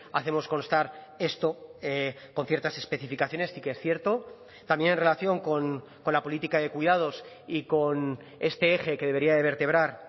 hacemos constar esto con ciertas especificaciones sí que es cierto también en relación con la política de cuidados y con este eje que debería de vertebrar